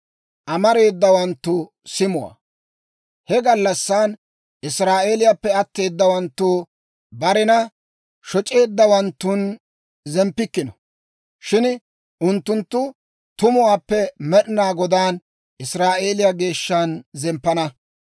He gallassan Israa'eeliyaappe atteedawaanttu barena shoc'eeddawanttun zemppikkino; shin unttunttu tumuwaappe Med'inaa Godaan, Israa'eeliyaa Geeshshan zemppana.